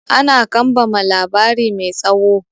Ana kambama labari mai tsawo.